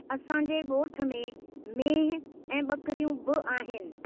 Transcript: असांजे ॻोठ में मेंहिं ऐं ॿकिरियूं बि आहिनि।